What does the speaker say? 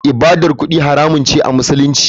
ibadar kudi haramun ce a musulunci.